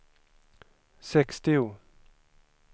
sextio